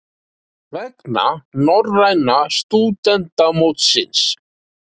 Vegna norræna stúdentamótsins?